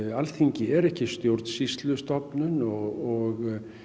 Alþingi er ekki stjórnsýslustofnun og